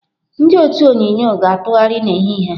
Ndị otu onyunyo ga-atụgharị n'ehihie a.